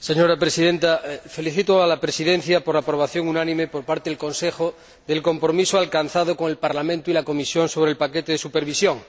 Señora Presidenta, felicito a la Presidencia por la aprobación unánime, por parte del Consejo, del compromiso alcanzado con el Parlamento y la Comisión sobre el paquete de supervisión.